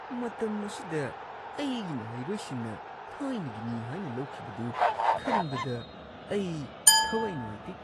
ꯃꯇꯝ ꯑꯁꯤꯗ, ꯑꯩꯒꯤ ꯃꯍꯩꯔꯣꯏꯁꯤꯡꯅ ꯊꯥꯏꯅꯒꯤꯅꯤ ꯍꯥꯏꯅ ꯂꯧꯈꯤꯕꯗꯨ ꯈꯟꯕꯗ ꯑꯩ ꯊꯋꯥꯏ ꯅꯨꯡꯉꯥꯏꯇꯦ ꯫